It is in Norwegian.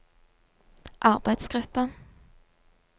arbeidsgruppa